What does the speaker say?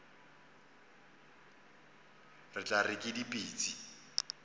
re tla re ke dipitsi